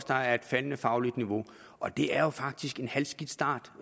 der er et faldende fagligt niveau og det er jo faktisk en halvskidt start